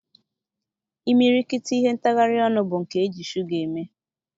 Imirikiti ihe ntagharị ọnụ bụ nke eji shuga eme.